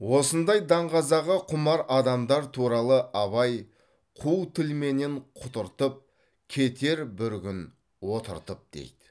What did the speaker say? осындай даңғазаға құмар адамдар туралы абай қу тілменен құтыртып кетер бір күн отыртып дейді